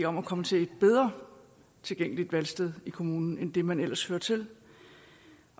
om at komme til et bedre tilgængeligt valgsted i kommunen end det man ellers hører til